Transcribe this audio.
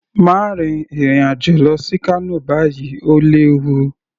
Má rin ìrìn àjò lọ sí Kano báyìí, Ó léwu